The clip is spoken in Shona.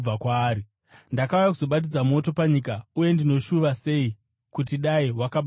“Ndakauya kuzobatidza moto panyika, uye ndinoshuva sei kuti dai wakabatidzwa kare!